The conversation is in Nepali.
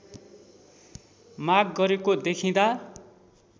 माग गरेको देखिँदा